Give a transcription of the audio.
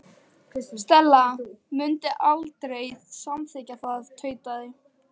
Stella mundi aldrei samþykkja það- tautaði